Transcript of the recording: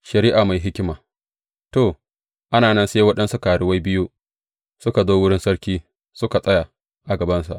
Shari’a mai hikima To, ana nan sai waɗansu karuwai biyu suka zo wurin sarki, suka tsaya a gabansa.